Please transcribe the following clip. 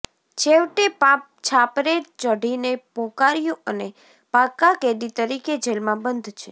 છેવેટે પાપ છાપરે ચઢીને પોકાર્યું અને પાકા કેદી તરીકે જેલમાં બંધ છે